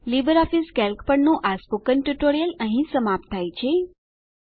LibreOffice Calc પરનું આ spoken tutorial અહીં સમાપ્ત થાય છે